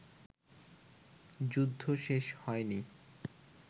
যুদ্ধ শেষ হয়নি